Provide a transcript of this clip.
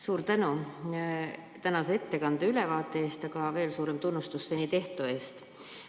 Suur tänu tänase ettekande ja ülevaate eest, aga veel suurem tunnustus seni tehtu eest!